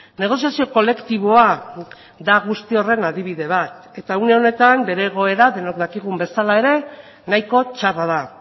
negoziazio kolektiboa da guzti horren adibide bat eta une honetan bere egoera denok dakigun bezala ere nahiko txarra da